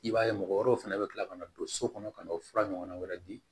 I b'a ye mɔgɔ wɛrɛw fana bɛ kila ka na don so kɔnɔ ka n'o fura ɲɔgɔnna wɛrɛ di